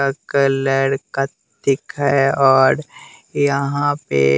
का कलर कतिक है और यहाँ पे--